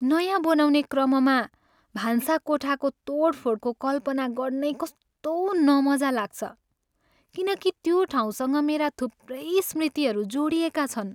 नयाँ बनाउने क्रममा भान्साकोठाको तोडफोडको कल्पना गर्नै कस्तो नमजा लाग्छ, किनकि त्यो ठाउँसँग मेरा थुप्रै स्मृतिहरू जोडिएका छन्।